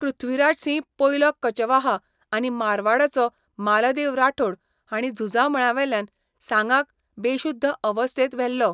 पृथ्वीराजसिंह पयलो कचवाहा आनी मारवाडाचो मालदेव राठोड हांणी झुजा मळावेल्यान सांगाक बेशुध्द अवस्थेंत व्हेल्लो.